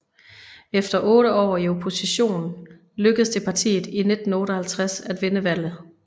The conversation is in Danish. Efter otte år i opposition lykkes det partiet i 1958 at vinde valget